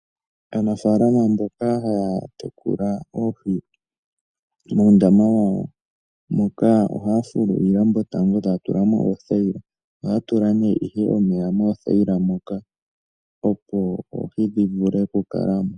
Aanafalama mboka haya tekula oohi muundama wawo moka ohaya fulu iilambo tango etaya tulamo oothayila nokutulamo nomeya, opo oohi dhi vule oku kalamo.